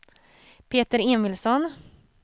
Peter Emilsson